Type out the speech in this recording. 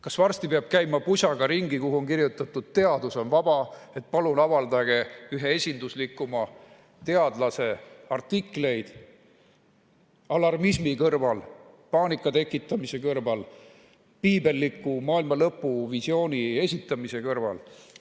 Kas varsti peab käima ringi pusaga, kuhu on kirjutatud "Teadus on vaba", et palun avaldage ühe esinduslikuma teadlase artikleid alarmismi kõrval, paanika tekitamise kõrval, piibelliku maailmalõpuvisiooni esitamise kõrval?